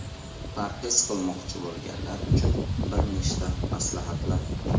Parhez qilmoqchi bo‘lganlar uchun bir nechta maslahatlar.